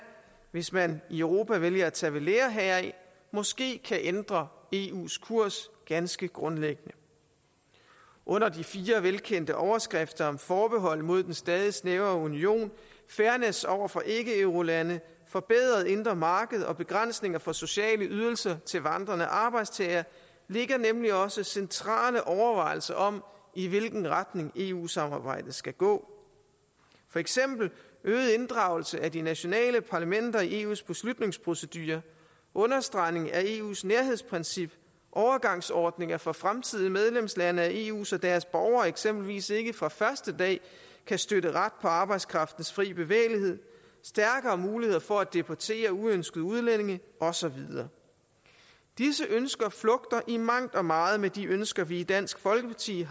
hvis man i europa vælger at tage ved lære heraf måske kan ændre eus kurs ganske grundlæggende under de fire velkendte overskrifter om forbehold mod den stadig snævrere union fairness over for ikkeeurolande et forbedret indre marked og begrænsninger for sociale ydelser til vandrende arbejdstagere ligger nemlig også centrale overvejelser om i hvilken retning eu samarbejdet skal gå for eksempel øget inddragelse af de nationale parlamenter i eus beslutningsprocedure understregning af eus nærhedsprincip overgangsordninger for fremtidige medlemslande af eu så deres borgere eksempelvis ikke fra første dag kan støtte ret på arbejdskraftens frie bevægelighed stærkere muligheder for at deportere uønskede udlændinge og så videre disse ønsker flugter i mangt og meget med de ønsker vi har i dansk folkeparti